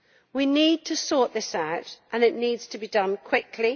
We need to sort this out, and it needs to be done quickly.